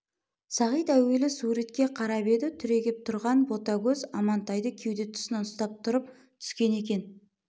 сағит әуелі суретке қарап еді түрегеп тұрған ботагөз амантайды кеуде тұсына ұстап тұрып түскен екен